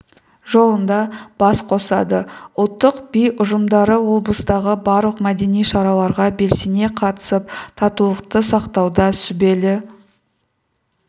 жолында бас қосады ұлттық би ұжымдары облыстағы барлық мәдени шараларға белсене қатысып татулықты сақтауда сүбелі